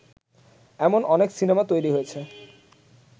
এমন অনেক সিনেমা তৈরী হয়েছে